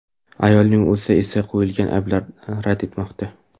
Ayolning o‘zi esa qo‘yilgan ayblarni rad etmoqda.